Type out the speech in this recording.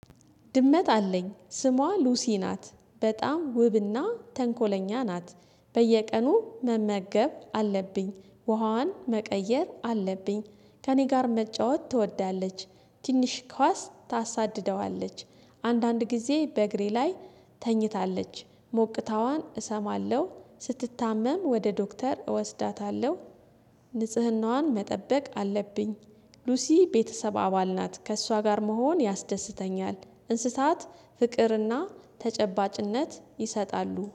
ድመት አለኝ ስሟ ሉሲ ናት በጣም ውብና ተንኮለኛ ናት። በየቀኑ መመገብ አለብኝ ውሃዋን መቀየር አለብኝ ከእኔ ጋር መጫወት ትወዳለች። ትንሽ ኳስ ታሳድደዋለች አንዳንድ ጊዜ በእግሬ ላይ። ተኝታለች ሞቅታዋን እሰማለሁ ስትታመም ወደ ዶክተር እወስዳታለሁ። ንጽህናዋን መጠበቅ አለብኝ። ሉሲ ቤተሰብ አባል ናት ከእሷ ጋር መሆን ያስደስተኛል። እንስሳት ፍቅርና ተጨባጭነት ይሰጣሉ